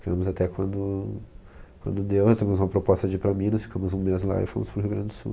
Ficamos até quando, quando deu, recebemos uma proposta de ir para Minas, ficamos um mês lá e fomos para o Rio Grande do Sul.